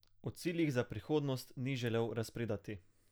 O ciljih za prihodnost ni želel razpredati.